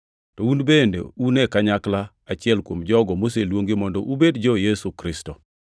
To un bende un e kanyakla achiel gi jogo moseluongi mondo ubed jo-Yesu Kristo.